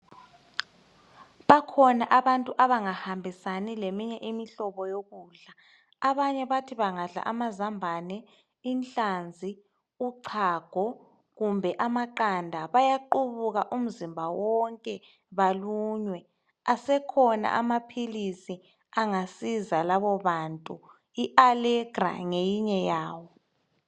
Bakhona abantu abangahambisani leminye imihlobo yokudla abanye bathi bengadla amazambane, inhlanzi, uchago kumbe amaqanda bayaqubuka umzimba wonke balunywe asekhona amaphilisi angasiza labobantu Allegra ngeyinye yawo.